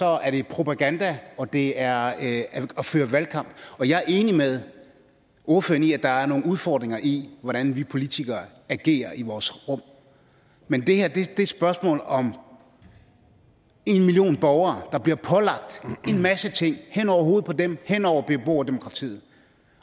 er det propaganda og det er at føre valgkamp jeg er enig med ordføreren i at der er nogle udfordringer i hvordan vi politikere agerer i vores rum men det her er et spørgsmål om at en million borgere bliver pålagt en masse ting hen over hovedet på dem hen over beboerdemokratiet